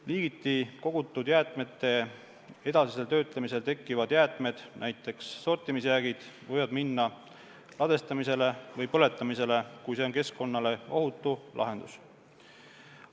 Liigiti kogutud jäätmete edasisel töötlemisel tekkivad jäätmed, näiteks sortimisjäägid, võivad minna ladestamisele või põletamisele, kui see on keskkonnale ohutu lahendus.